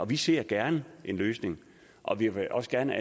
vi ser gerne en løsning og vi vil også gerne